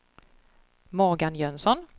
Morgan Jönsson